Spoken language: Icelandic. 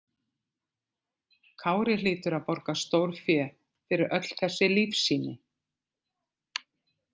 Kári hlýtur að borga stórfé fyrir öll þessi lífsýni.